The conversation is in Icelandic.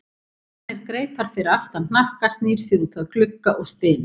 Hann spennir greipar fyrir aftan hnakka, snýr sér út að glugga og stynur.